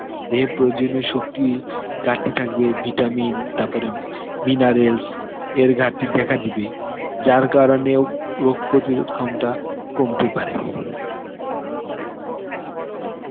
দেহে প্রয়োজনীয় শক্তি ঘারতি থাকবে, vitamin তারপরে minarales এর ঘারতি দেখা দিবে, যার কারনেও রোগ প্রতিরোধ` ক্ষমতা কমতে পারে.